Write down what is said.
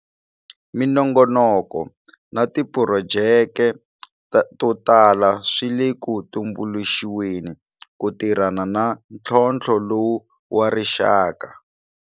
Minongonoko na tiphurojeke to tala swi le ku tumbuluxiweni ku tirhana na ntlhotlho lowu wa rixaka.